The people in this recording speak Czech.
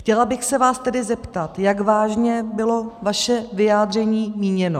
Chtěla bych se vás tedy zeptat, jak vážně bylo vaše vyjádření míněno.